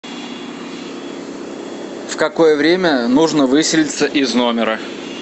в какое время нужно выселиться из номера